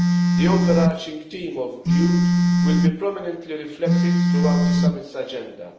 The overarching theme of youth will be prominently reflected throughout the summit's agenda.